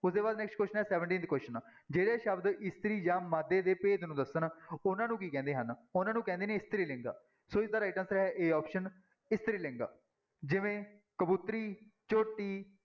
ਉਹਦੇ ਬਾਅਦ next question ਹੈ seventeenth question ਜਿਹੜੇ ਸ਼ਬਦ ਇਸਤਰੀ ਜਾਂ ਮਾਦੇ ਦੇ ਭੇਦ ਨੂੰ ਦੱਸਣ ਉਹਨਾਂ ਨੂੰ ਕੀ ਕਹਿੰਦੇ ਹਨ, ਉਹਨਾਂ ਨੂੰ ਕਹਿੰਦੇ ਨੇ ਇਸਤਰੀ ਲਿੰਗ, ਸੋ ਇਸਦਾ right answer ਹੈ a option ਇਸਤਰੀ ਲਿੰਗ ਜਿਵੇਂ ਕਬੂਤਰੀ, ਝੋਟੀ,